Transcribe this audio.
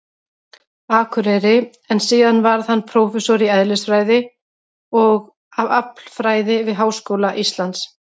Akureyri, en síðar varð hann prófessor í eðlisfræði og aflfræði við Háskóla Íslands.